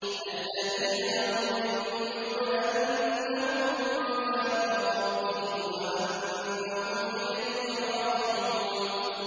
الَّذِينَ يَظُنُّونَ أَنَّهُم مُّلَاقُو رَبِّهِمْ وَأَنَّهُمْ إِلَيْهِ رَاجِعُونَ